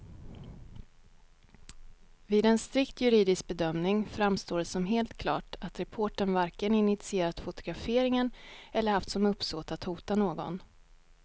Vid en strikt juridisk bedömning framstår det som helt klart att reportern varken initierat fotograferingen eller haft som uppsåt att hota någon.